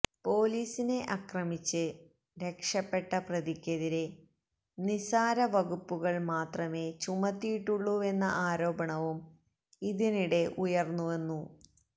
പൊലീസിനെ ആക്രമിച്ച് രക്ഷപ്പെട്ട പ്രതിക്കെതിരെ നിസാര വകുപ്പുകൾ മാത്രമേ ചുമത്തിയിട്ടുള്ളുവെന്ന ആരോപണവും ഇതിനിടെ ഉയർന്നുവെന്നു